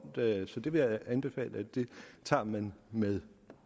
så det vil jeg anbefale man tager med med